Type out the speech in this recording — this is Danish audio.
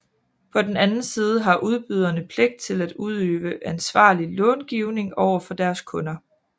På den anden side har udbyderne pligt til at udøve ansvarlig långivning over for deres kunder